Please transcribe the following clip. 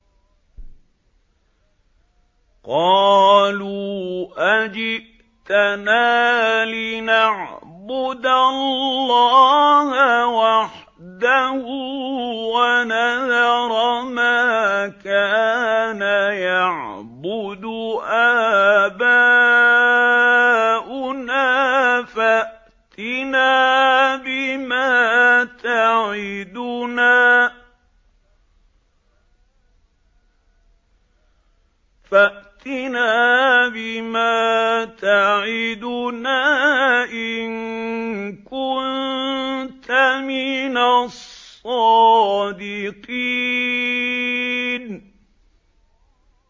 قَالُوا أَجِئْتَنَا لِنَعْبُدَ اللَّهَ وَحْدَهُ وَنَذَرَ مَا كَانَ يَعْبُدُ آبَاؤُنَا ۖ فَأْتِنَا بِمَا تَعِدُنَا إِن كُنتَ مِنَ الصَّادِقِينَ